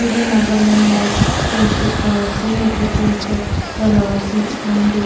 edu nahgalain la ekta church ase edu church toh tailaka sets khan toh--